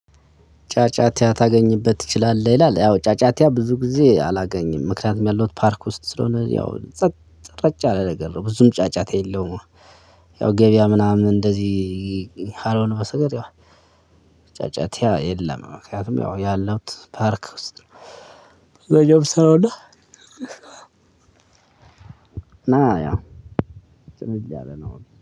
ጫጫታ ታገኝበት ትችላለህ ይላል አዎ ጫጫታ ብዙ ጊዜ አላገኝም ምክንያቱም ያለሁት ፓርክ ውስጥ ስለሆነ ያው ጸጥ ረጭ ያለ ነገር ነው እና ብዙም ጫጫታ የለውም። ያው ገበያ ምናምን እንደዚህ ካልሆነ በስተቀር ያው ጫጫታ የለም ምክንያቱም ያው ያለውት ፓርክ ውስጥ ነው። ያእዛ ነው ምሰራውና። ና ያ ጭልል ያለ ነው።